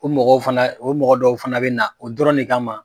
O mɔgɔw fana o mɔgɔ dɔw fana bɛ na o dɔrɔn ne kama.